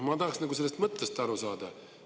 Ma tahaksin sellest mõttest aru saada.